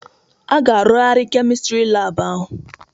A ga-arụgharị Kemistri laabụ ahụ.